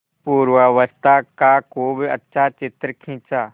पूर्वावस्था का खूब अच्छा चित्र खींचा